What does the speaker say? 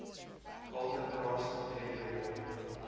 golden raspberry award